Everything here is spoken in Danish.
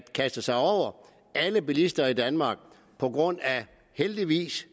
kaste sig over alle bilister i danmark på grund af det heldigvis